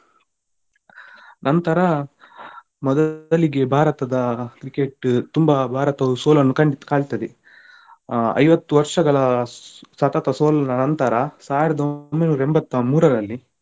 ನಂತರ ಮೊದಲಿಗೆ ಭಾರತದ Cricket ತುಂಬಾ ಭಾರತವು ಸೋಲನ್ನು ಕಾಣ್ತದೆ ಆ ಐವತ್ತು ವರ್ಷಗಳ ಸತತ ಸೋಲಿನ ನಂತರ ಸಾವಿರದ ಒಂಬೈನೂರ ಎಂಬತ್ತ ಮೂರರಲ್ಲಿ,